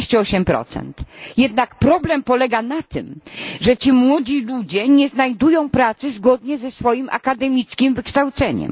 38. Jednak problem polega na tym, że ci młodzi ludzie nie znajdują pracy zgodnie ze swoim akademickim wykształceniem.